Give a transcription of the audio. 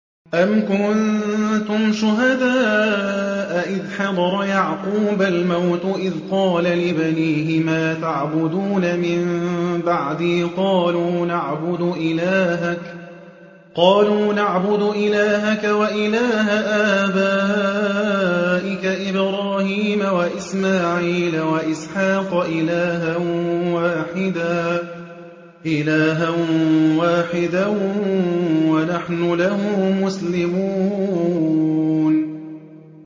أَمْ كُنتُمْ شُهَدَاءَ إِذْ حَضَرَ يَعْقُوبَ الْمَوْتُ إِذْ قَالَ لِبَنِيهِ مَا تَعْبُدُونَ مِن بَعْدِي قَالُوا نَعْبُدُ إِلَٰهَكَ وَإِلَٰهَ آبَائِكَ إِبْرَاهِيمَ وَإِسْمَاعِيلَ وَإِسْحَاقَ إِلَٰهًا وَاحِدًا وَنَحْنُ لَهُ مُسْلِمُونَ